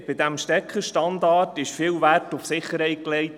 Bei diesem Stecker-Standard wurde viel Wert auf Sicherheit gelegt.